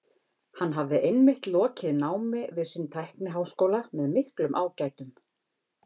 Hann hafði einmitt lokið námi við sinn tækniháskóla með miklum ágætum.